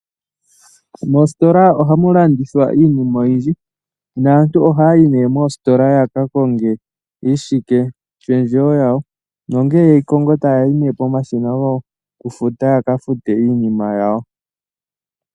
Moositola ohamu landithwa iinima oyindji. Naantu ohaya yi nee moositola ya ka konge iishike pendjewo yawo. Nongele yeyi kongo taya yi nee pomashina gokufuta yaka fute iinima yawo.